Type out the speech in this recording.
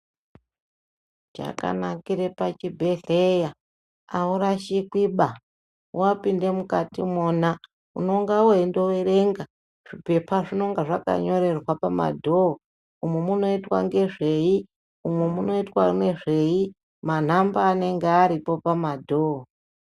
Chakanakire pachibhedhleya aurash8kwi baa wapinde mukati imona unenge weyindo verenga zvipepa zvinenge zvakanyorerwa pama dhoho umu munoita nezvei umu munoitwa nezvei manamba anenge aripo pamadhoho.